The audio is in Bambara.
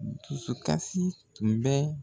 Dusukasi tun bɛ